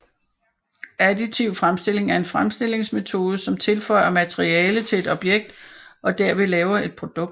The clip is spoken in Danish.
Additiv fremstilling er en fremstillingsmetode som tilføjer materiale til et objekt og derved laver et produkt